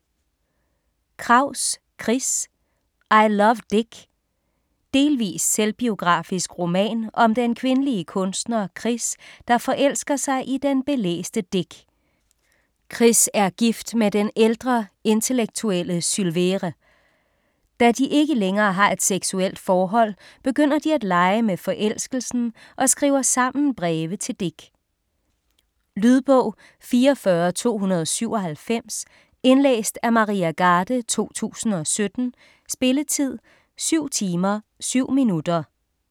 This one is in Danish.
Kraus, Chris: I love Dick Delvis selvbiografisk roman om den kvindelige kunstner Chris, der forelsker sig i den belæste Dick. Chris er gift med den ældre, intellektuelle Sylvere. Da de ikke længere har et seksuelt forhold, begynder de at lege med forelskelsen og skriver sammen breve til Dick. Lydbog 44297 Indlæst af Maria Garde, 2017. Spilletid: 7 timer, 7 minutter.